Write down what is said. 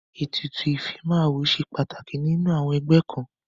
Ètùtù ìfimáwo ṣe pàtàkì nínú àọn ẹgbẹ́ kan..